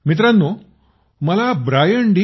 मित्रांनो मला Brian D